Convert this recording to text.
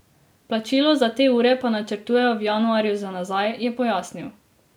Plačilo za te ure pa načrtujejo v januarju za nazaj, je pojasnil.